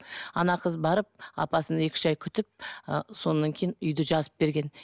ана қыз барып апасын екі үш ай күтіп ы содан кейін үйді жазып берген